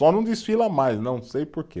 Só não desfila mais, não sei porquê.